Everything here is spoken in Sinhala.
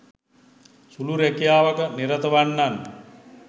සුළු රැකියාවක නිරත වන්නන්